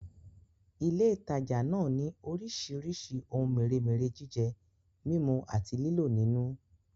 Ilé ìtajà náà ni orísìírísìí ohun mèremère jíjẹ, mímú àti lílò nínú